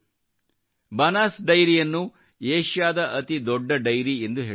ಬನಾಸ್ ಡೈರಿಯನ್ನು ಏಷ್ಯಾದ ಅತಿ ದೊಡ್ಡ ಡೈರಿಯೆಂದು ಹೇಳಲಾಗುತ್ತದೆ